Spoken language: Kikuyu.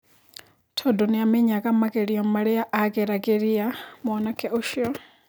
Tondũ nĩ amenyaga magerio maria ageragĩria mwanake ũcio.